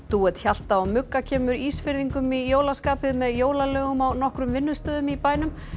dúett Hjalta og kemur Ísfirðingum í jólaskapið með jólalögum á nokkrum vinnustöðum í bænum